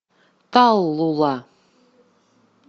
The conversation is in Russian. таллула